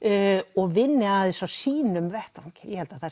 og vinni að þessu á sínum vettvangi